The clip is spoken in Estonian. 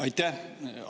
Aitäh!